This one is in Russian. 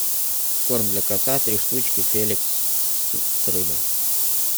корм для кота три штучки феликс с рыбой